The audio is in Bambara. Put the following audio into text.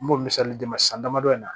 N b'o misali d'i ma san damadɔ in na